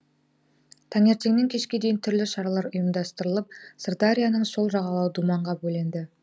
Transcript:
таңертеңнен кешке дейін түрлі шаралар ұйымдастырылып сырдарияның сол жағалауы думанға бөленді